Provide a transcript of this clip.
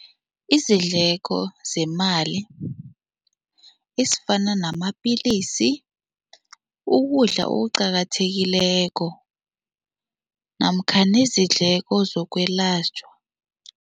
Izidleko zemali ezifana namapilisi, ukudla okuqakathekileko namkha nezidleko zokwelatjhwa.